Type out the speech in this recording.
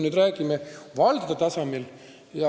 Te küsisite valdade tasandi kohta.